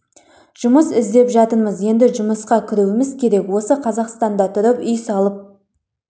жұмыс іздеп жатырмыз енді жұмысқа кіруіміз керек осы қазақстанда тұрып үй салып